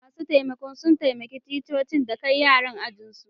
Masun taimakon sun taimaka ticcoci da kai yaran ajin su.